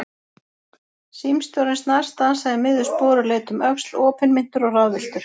Símstjórinn snarstansaði í miðju spori og leit um öxl, opinmynntur og ráðvilltur.